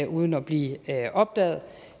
uden at blive opdaget